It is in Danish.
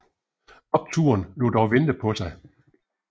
Opturen lod dog vente på sig